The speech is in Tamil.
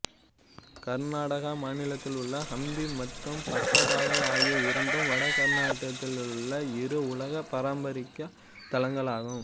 கர்நாடகா மாநிலத்திலுள்ள ஹம்பி மற்றும் பட்டதாகல் ஆகிய இரண்டும் வட கர்நாடகத்திலுள்ள இரு உலக பாரம்பரியத் தலங்களாகும்